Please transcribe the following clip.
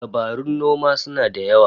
Dabarun noma suna da yawa